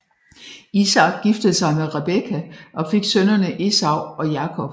Isak giftede sig med Rebekka og fik sønnene Esau og Jakob